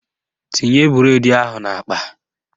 Tinye bụredi ahụ n'akpa!